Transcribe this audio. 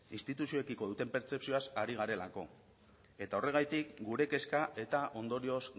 instituzioekiko duten pertzepzioaz ari garelako eta horregatik gure kezka eta ondorioz